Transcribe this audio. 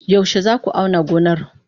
Yaushe za ku auna gonar?